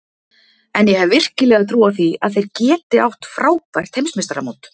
En ég hef virkilega trú á því að þeir geti átt frábært Heimsmeistaramót.